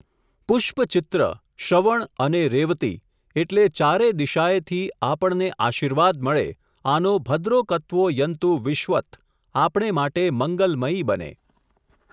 પુષ્પચિત્ર, શ્રવણ અને રેવતી એટલે ચારે દિશાએથી, આપણને આશીર્વાદ મળે આનો ભદ્રોકતવો યન્તુ વિશ્વત આપણે માટે મંગલમયી બને.